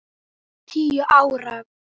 Hún var tíu ára.